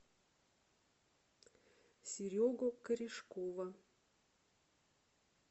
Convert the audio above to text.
серегу корешкова